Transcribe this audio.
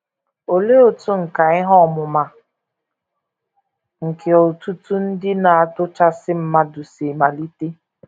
Olee otú nkà ihe ọmụma nke òtù òtù Ndị Na - atụchasị Mmadụ si malite?